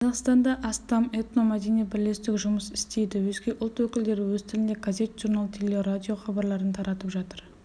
қазақстанда астам этномәдени бірлестік жұмыс істейді өзге ұлт өкілдері өз тілінде газет-журнал телерадио хабарларын таратып жатыр